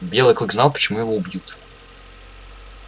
белый клык знал почему его убьют